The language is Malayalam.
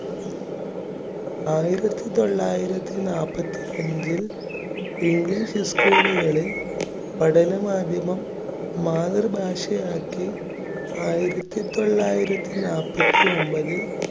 ആയിരത്തി തൊള്ളായിരത്തി നാല്പത്തിഅഞ്ചിൽ english school കളിൽ പഠന മാധ്യമം മാതൃഭാഷയാക്കി ആയിരത്തി തൊള്ളായിരത്തി നാല്പത്തിഒൻപതിൽ